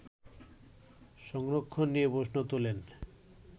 সংরক্ষণ নিয়ে প্রশ্ন তোলেন